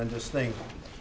þess sem